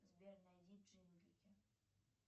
сбер найди джинглики